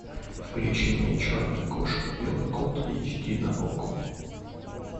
включи мне черная кошка белый кот эйч ди на окко